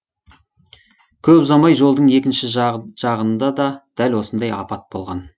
көп ұзамай жолдың екінші жағында да дәл осындай апат болған